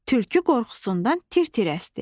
Tülkü qorxusundan tir-tir əsdi.